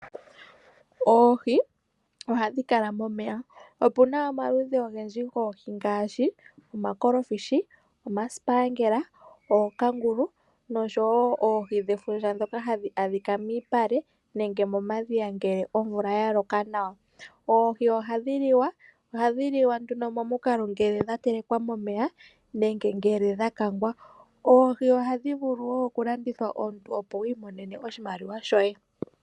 Oohi ohadhi kala momeya. Opuna omaludhi ogendji goohi ngaashi omakolofishi, omasipaangela, ookangulu noshowo oohi dhefundja ndhoka hadhi adhika miipale nenge momadhiya ngele omvula ya loka nawa. Oohi ohadhi liwa, ohadhi liwa nduno momukalo ngele dha telekwa momeya nenge ngele dha kangwa. Oohi ohadhi vulu wo oku landithwa omuntu opo wiimonene oshimaliwa shoye.